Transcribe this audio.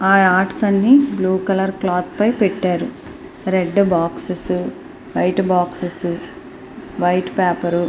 ఆ ఆర్ట్స్ అన్ని blue colour cloth పైన పెట్టారు red boxes white boxes white paper .